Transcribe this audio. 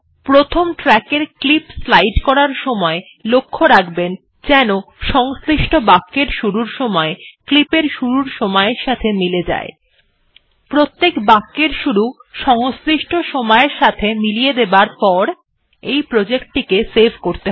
প্রথম ট্র্যাক এর clip slide করার সময় লক্ষ্য রাখবেন যেন সংশ্লিষ্ট বাক্যের শুরুর সময় ক্লিপের শুরুর সময় এর সাথে মিলে যায় প্রত্যেক বাক্যের শুরু সংশ্লিষ্ট সময়ের সঙ্গে মিলিয়ে দেবার পর এই প্রজেক্ট টিকে সেভ করতে হবে